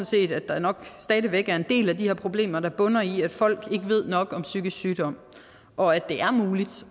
set at der nok stadig væk er en del af de her problemer der bunder i at folk ikke ved nok om psykisk sygdom og at det er muligt